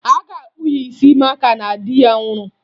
A ga-akpụ ya isi maka na di ya nwụrụ